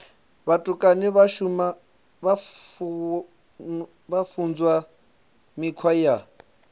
vhutukani vha funzwa mikhwa ya